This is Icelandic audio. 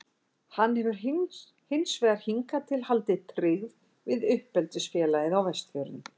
Hann hefur hins vegar hingað til haldið tryggð við uppeldisfélagið á Vestfjörðum.